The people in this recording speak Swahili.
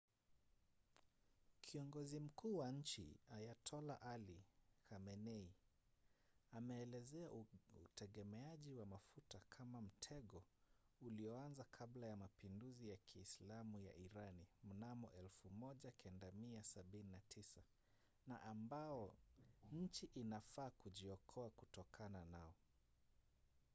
kiongozi mkuu wa nchi ayatollah ali khamenei ameelezea utegemeaji wa mafuta kama mtego ulioanza kabla ya mapinduzi ya kiislamu ya irani mnamo 1979 na ambao nchi inafaa kujiokoa kutokana nao